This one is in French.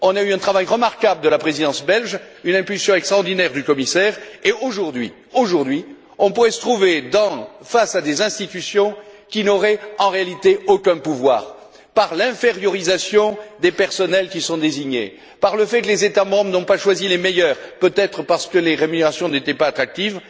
Nous avons eu un travail remarquable de la Présidence belge, une impulsion extraordinaire du commissaire et, aujourd'hui, on pourrait se trouver face à des institutions qui n'auraient, en réalité, aucun pouvoir par l'infériorisation des personnels qui sont désignés, par le fait que les États membres n'ont pas choisi les meilleurs, peut être parce que les rémunérations n'étaient pas attractives.